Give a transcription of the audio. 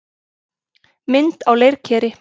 Mynd á leirkeri.